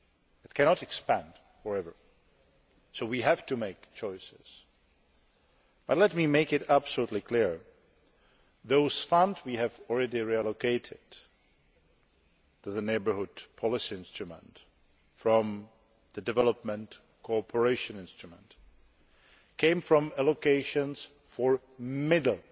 it cannot expand for ever, so we have to make choices. But let me make it absolutely clear that those funds we have already reallocated to the Neighbourhood Policy Instrument from the Development Cooperation Instrument came from allocations for middle